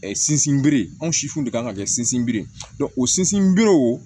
Sinsinbere anw siw de kan ka kɛ sinsinbere ye o sinsinbere o